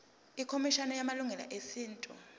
ikhomishana yamalungelo esintu